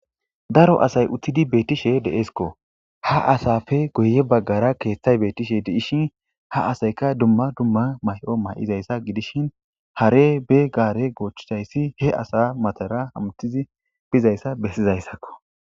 Daro asay uttidi beetishe deeskko. Ha asappe guye baggara keeththay beetishe dees. Ha asayikka dumma dumma mayo mayiza issa gidishin hare ba gaare goochchida issi he asa matara hametishe biza issa bessiza issakko.